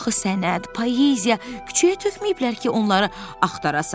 Axı sənət, poeziya küçəyə tökməyiblər ki, onları axtarasan.